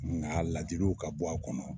Nka ladiliw ka bɔ, a kɔnɔ.